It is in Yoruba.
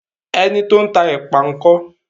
Ẹni tó ń tá èpà ńkọ́?